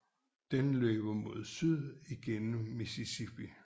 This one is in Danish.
Den løber mod syd gennem Mississippi